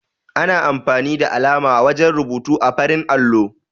Ana amfani da alama wajen rubutu ã farin allo.